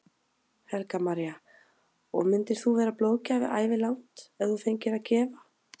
Helga María: Og myndir þú vera blóðgjafi ævilangt ef þú fengir að gefa?